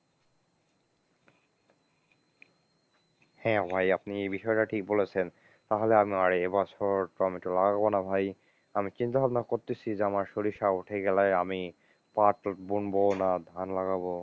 হ্যাঁ ভাই আপনি এই বিষয়টা ঠিক বলেছেন, তাহলে আমি আর এ বছর তো আমি লাগাবোনা ভাই, আমি চিন্তা ভাবনা করতেছি যে আমার সরিষা উঠে গেলে আমি পাট বুনবো না ধান লাগাবো?